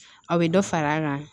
Aw bɛ dɔ fara an kan